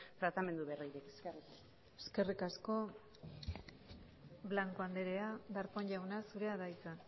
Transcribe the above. tratamendu berririk eskerrik asko eskerrik asko blanco anderea darpón jauna zurea da hitza